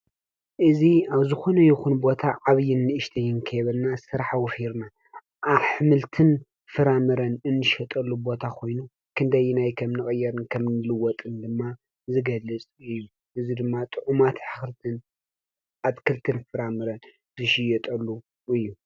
እዙይ ኣብ ዝኮነ ይኩን ቦታ ዓብይን ንእሽተይን ከይበልና ስራሕ ወፊርና አሕምልትን ፍራምረን እንሸጠሉ ቦታ ኮይኑ ክንደየናይ ከምንቅየርን ከምእንልወጥን ድማ ዝገልፅ እዩ። እዚ ድማ ጡዑማት ኣትክልትን ፍራምረን ዝሽየጠሉ እዩ።